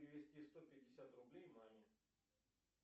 перевести сто пятьдесят рублей маме